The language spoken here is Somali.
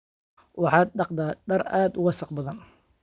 Waxaan dhaqdaa dhar aad u wasakh badan